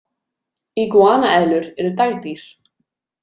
Iguana-eðlur eru dagdýr.